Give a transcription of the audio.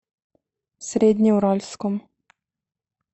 среднеуральском